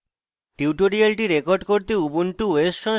tutorial record করতে